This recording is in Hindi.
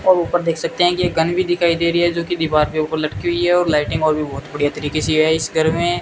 और ऊपर देख सकते हैं कि एक गन भी दिखाई दे रही है जो कि दीवार के ऊपर लटकी हुई है और लाइटिंग और भी बहुत बढ़िया तरीके से है इस घर में।